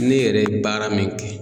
Ne yɛrɛ ye baara min kɛ.